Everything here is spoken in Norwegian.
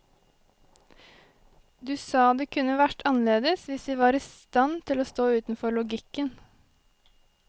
Du sa det kunne vært annerledes hvis vi var i stand til å stå utenfor logikken.